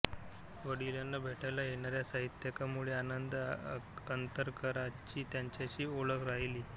वडिलांना भेटायला येणाऱ्या साहित्यिकांमुळे आनंद अंतरकरांची त्यांच्याशी ओळख राहिली